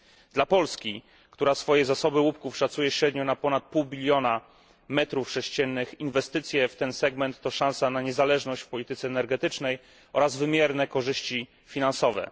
Dla Polski, która swoje zasoby łupków szacuje średnio na ponad pół biliona metrów sześciennych, inwestycje w ten segment to szansa na niezależność w polityce energetycznej oraz wymierne korzyści finansowe.